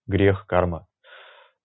грех карма